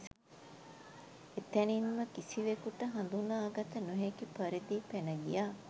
එතැනින්ම කිසිවෙකුට හඳුනාගත නොහැකි පරිදි පැන ගියා